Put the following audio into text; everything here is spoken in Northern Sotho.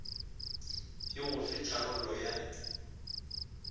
e go fe tharollo ya